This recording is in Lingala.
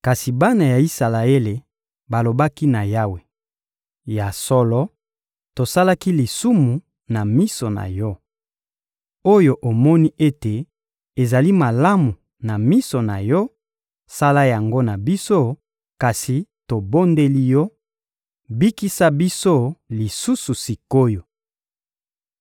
Kasi bana ya Isalaele balobaki na Yawe: — Ya solo, tosalaki lisumu na miso na Yo. Oyo omoni ete ezali malamu na miso na Yo, sala yango na biso; kasi tobondeli Yo: bikisa biso lisusu sik’oyo!